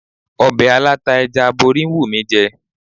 Ọbẹ̀ aláta ẹja aborí ń wù mí jẹ.